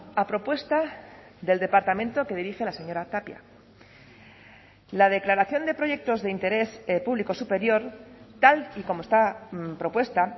a propuesta del departamento que dirige la señora tapia la declaración de proyectos de interés público superior tal y como está propuesta